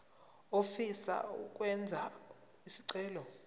ofisa ukwenza isicelo